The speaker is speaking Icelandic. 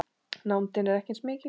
Nándin er ekki eins mikil.